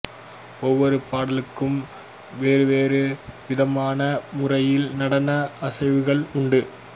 ஒவ்வொரு பாட்டுக்கும் வெவ்வேறு விதமான முறையில் நடன அசைவுகள் உண்டு